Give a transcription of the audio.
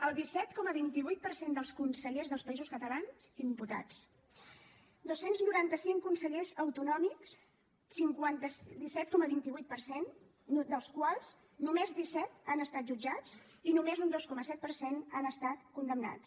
el disset coma vint vuit per cent dels consellers dels països catalans imputats dos cents i noranta cinc consellers autonòmics disset coma vint vuit per cent dels quals només disset han estat jutjats i només un dos coma set per cent han estat condemnats